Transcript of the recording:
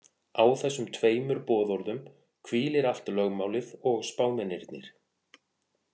Á þessum tveimur boðorðum hvílir allt lögmálið og spámennirnir.